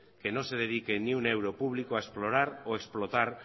que no se dedique ni un euro público a explorar o explotar